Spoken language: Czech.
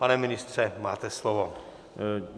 Pane ministře, máte slovo.